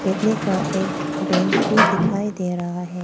लकड़ी का एक बेंच भी दिखाई दे रहा है।